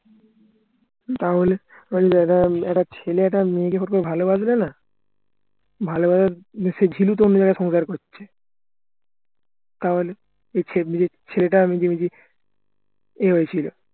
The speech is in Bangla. তাহলে শোন একটা ছেলে একটা মেয়ে যখনকে ভালোবাসবে না সে তো অন্য জায়গায় সংসার করছে তাহলে ছেলেটা নিজে নিজে এই হয়েছিল